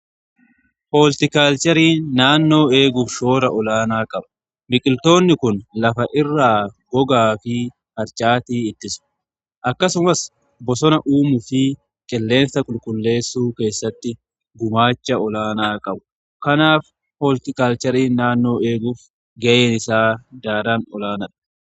Hooltikaalcherii naannoo eeguuf shoora olaanaa qabu. Biqiltoonni kun lafa irraa gogaa fi harcaatii ittisu. Akkasumas bosona uumuu fi qilleensa qulqulleessuu keessatti gumaacha olaanaa qabu. Kanaaf hooltikaalcherii naannoo eeguuf ga'een isaa daran olaanaadha.